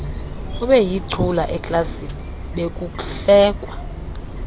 ebeyicula eklasini bekuhlekwa